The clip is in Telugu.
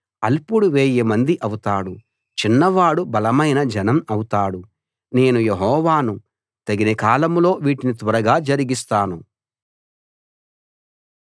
అల్పుడు వేయిమంది అవుతాడు చిన్నవాడు బలమైన జనం అవుతాడు నేను యెహోవాను తగిన కాలంలో వీటిని త్వరగా జరిగిస్తాను